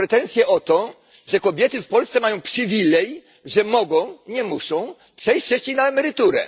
Macie pretensje o to, że kobiety w Polsce mają przywilej, że mogą nie muszą przejść wcześniej na emeryturę.